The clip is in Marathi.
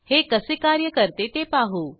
हे कसे कार्य करते ते पाहू